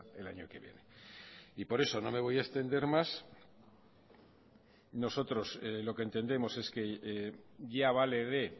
el año que viene y por eso no me voy a extender más nosotros lo que entendemos es que ya vale de